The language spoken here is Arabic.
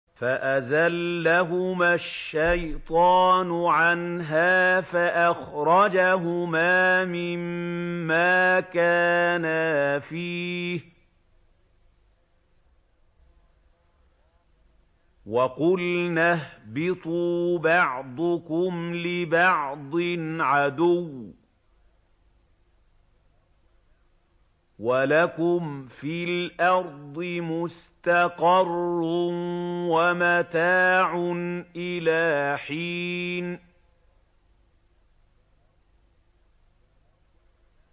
فَأَزَلَّهُمَا الشَّيْطَانُ عَنْهَا فَأَخْرَجَهُمَا مِمَّا كَانَا فِيهِ ۖ وَقُلْنَا اهْبِطُوا بَعْضُكُمْ لِبَعْضٍ عَدُوٌّ ۖ وَلَكُمْ فِي الْأَرْضِ مُسْتَقَرٌّ وَمَتَاعٌ إِلَىٰ حِينٍ